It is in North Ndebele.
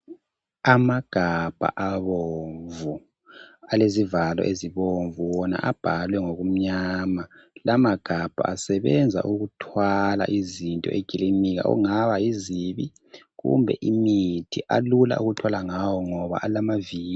Amagabha abomvu alezivalo ezibomvu wona abhaliwe ngokumnyama. La magabha asebenza ukuthwala izinto ekilinika okungaba yizibi kumbe imithi. Alula ukuthwala ngawo ngoba alamaviri.